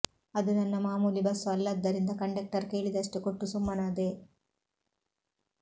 ಅದು ನನ್ನ ಮಾಮೂಲಿ ಬಸ್ ಅಲ್ಲದ್ದರಿಂದ ಕಂಡಕ್ಟರ್ ಕೇಳಿದಷ್ಟು ಕೊಟ್ಟು ಸುಮ್ಮನಾದೆ